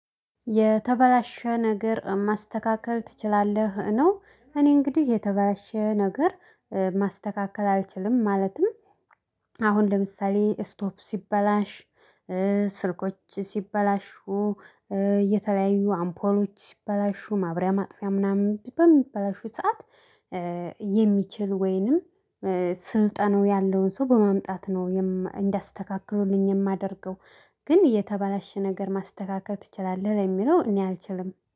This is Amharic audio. የተበላሸ ነገር ማስተካከል ትችላለህ ነው? እኔ እንግዲህ የተበላሸ ነገር ማስተካከል አልችልም ማለትም። አሁን ለምሳሌ ስቶፍ ሲበላሽ ስልኮች ሲበላሹ የተለያዩ አምፖሎች ሲበላሹ ማብሪያ ማጥፊያ ምናምን በሚበላሹ ሰዓት። የሚችል ወይንም ስልጠናው ያለውን ሰው በማምጣት ነው እንዲያስተካክሉልኝ የማደርገው። ግን የተባላሽ ነገር ማስተካከል ትችላለህ ለሚለው እኔ አልችልም